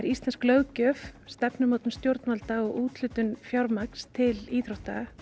íslensk löggjöf stefnumótun stjórnvalda og úthlutun fjármagns til íþrótta